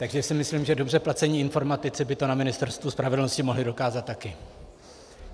Takže si myslím, že dobře placení informatici by to na Ministerstvu spravedlnosti mohli dokázat taky.